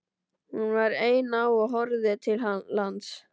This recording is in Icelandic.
Hún var ein á og horfði til lands.